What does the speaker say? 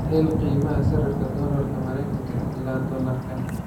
hel qiimaha sarifka doolarka Mareykanka ilaa dollarka